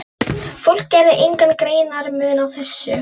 Fólk gerði engan greinarmun á þessu.